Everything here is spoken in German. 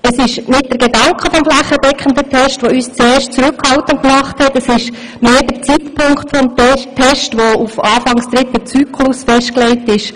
Es ist nicht der Gedanke des flächendeckenden Tests, der uns zuerst zurückhaltend gemacht hat, es ist vielmehr der Zeitpunkt des Tests, der auf Anfang des dritten Zyklus festgelegt ist.